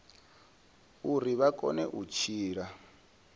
uri vha kone u tshila